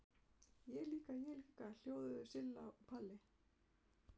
Ég líka, ég líka!!! hljóðuðu Silla og Palla.